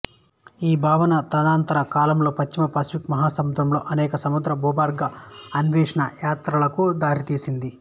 ఈ భావన తదనంతర కాలంలో పశ్చిమ పసిఫిక్ మహాసముద్రంలో అనేక సముద్ర భూగర్భ అన్వేషణ యాత్రలకు దారితీసింది